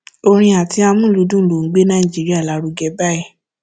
orin àti amúlùúdùn ló ń gbé nàìjíríà lárugẹ báyìí